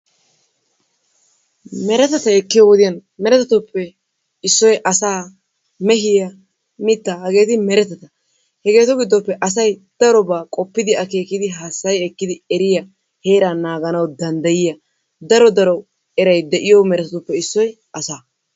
Meretata ekkiyo wodiyan meretatuppe issoy asaa, mehiya, mittaa, hageeti meretata. Hageetu giddoppe asay darobaa qoppidi akeekidi hassayi ekkidi eriya heeraa naaganawu danddayiya daro daro eray de'iyo meretatuppe issoy asaa.